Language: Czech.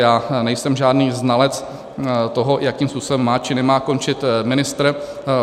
Já nejsem žádný znalec toho, jakým způsobem má či nemá končit ministr.